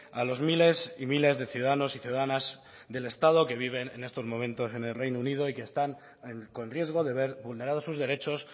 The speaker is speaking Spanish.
a los miles y miles de ciudadanos y ciudadanas del estado que viven en estos momentos en el reino unido y que están con riesgo de ver vulnerados sus derechos